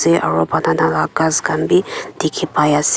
aru banana la ghas khan bi dikhi pai ase.